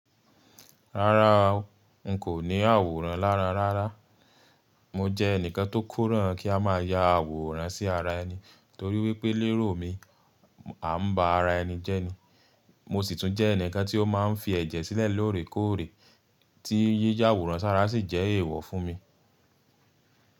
Rárá o, n kò ní àwòrán lára rárá. Mo jẹ́ ẹnìkan tó kóràn kí a má ya àwòrán sí ara ẹni torí wípé lérò mi à ń bá ara ẹni jẹ́ ni. Mo sì tún jẹ́ ẹnìkan tí ó máa ń fi ẹ̀jẹ̀ sílẹ̀ lóòrèkóòrè tí yíyá àwòrán sára sì jẹ́ èèwọ̀ fún mi.